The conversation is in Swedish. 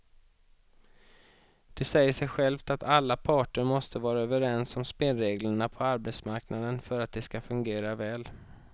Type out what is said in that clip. Det säger sig självt att alla parter måste vara överens om spelreglerna på arbetsmarknaden för att de ska fungera väl.